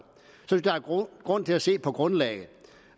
grund til at se på grundlaget